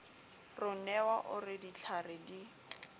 ronewa o re ditlhware di